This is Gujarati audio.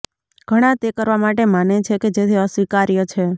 ઘણા તે કરવા માટે માને છે કે જેથી અસ્વીકાર્ય છે